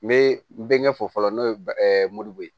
N bɛ n bɛ ɲɛfɔ fɔlɔ n'o ye moribo